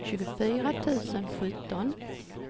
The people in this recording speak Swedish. tjugofyra tusen sjutton